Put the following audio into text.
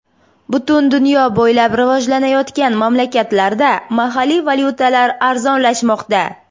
Butun dunyo bo‘ylab rivojlanayotgan mamlakatlarda mahalliy valyutalar arzonlashmoqda.